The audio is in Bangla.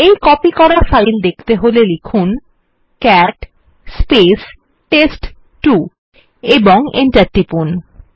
এই কপি করা ফাইল দেখতে হলে লিখুন ক্যাট টেস্ট2 ও এন্টার টিপুন